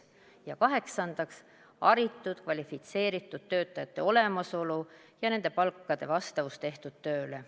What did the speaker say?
Ja kaheksandaks, haritud, kvalifitseeritud töötajate olemasolu ja nende palkade vastavus tehtud tööle.